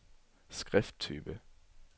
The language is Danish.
skrifttype